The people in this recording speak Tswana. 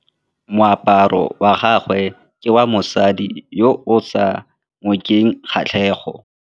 Moaparô wa gagwe ke wa mosadi yo o sa ngôkeng kgatlhegô.